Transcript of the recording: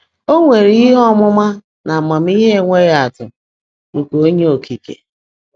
O nwere ihe ọmụma na amamihe enweghị atụ nke Onye Okike.